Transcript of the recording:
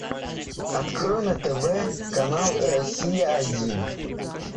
открой на тв канал россия один